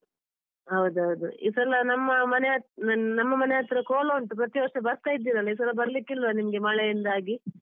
ಹೌದೌದು ಈ ಸಲ ನಮ್ಮ ಮನೆ ನಮ್ಮ ಮನೆಹತ್ರ ಕೋಲ ಉಂಟು ಪ್ರತಿವರ್ಷ ಬರ್ತಾ ಇದ್ದಿರಲ್ಲ ಈ ಸಲ ಬರ್ಲಿಕ್ಕಿಲ್ವ ನಿಮ್ಗೆ ಮಳೆಯಿಂದಾಗಿ.